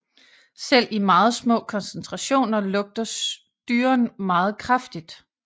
Selv i meget små koncetrationer lugter styren meget kraftigt